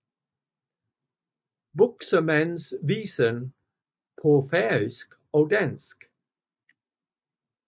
Buxemands Visen paa Færøisk og Dansk